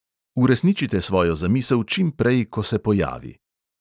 Uresničite svojo zamisel čimprej, ko se pojavi.